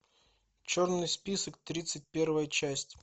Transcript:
черный список тридцать первая часть